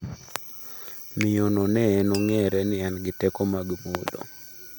Miyo no ne enOng’ere ni en gi teko mag mudho.